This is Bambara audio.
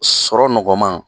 Sɔrɔ nɔgɔman